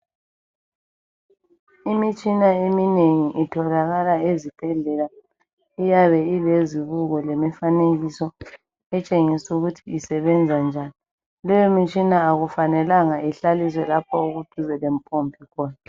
imitshina eminengi itholakala ezibhedlela iyabe ilezibuko lemifanekiso etshengisa ukuthi isebenza njani lemitshina akumelanga ihlaliswe duze lapho okule mpompi khona